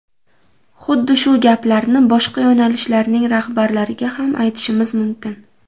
Xuddi shu gaplarni boshqa yo‘nalishlarning rahbarlariga ham aytishimiz mumkin.